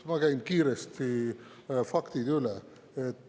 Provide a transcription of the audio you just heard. Ma käin kiiresti faktid üle.